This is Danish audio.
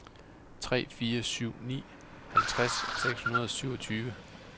tre fire syv ni halvtreds seks hundrede og syvogtyve